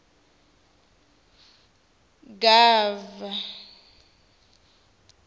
ts gov pri xitsonga hl